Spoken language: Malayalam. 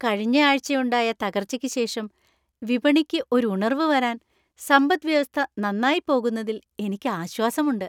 കഴിഞ്ഞ ആഴ്‌ചയുണ്ടായ തകർച്ചയ്ക്ക് ശേഷം വിപണിക്ക് ഒരു ഉണർവ് വരാൻ സമ്പത് വ്യവസ്ഥ നന്നായി പോകുന്നതിൽ എനിക്ക് ആശ്വാസമുണ്ട്.